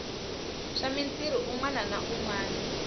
swa mitirhi u nwananwana